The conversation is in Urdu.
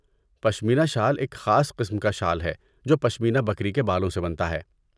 پشیمنا شال ایک خاص قسم کا شال ہے جو پشمینا بکری کے بالوں سے بنتا ہے۔